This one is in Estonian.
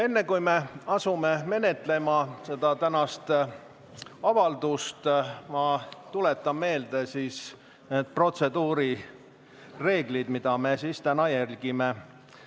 Enne, kui me asume seda tänast avaldust menetlema, ma tuletan meelde need protseduurireeglid, mida me täna järgime.